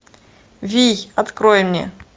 вий открой мне